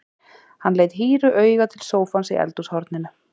Hann leit hýru auga til sófans í eldhúshorninu.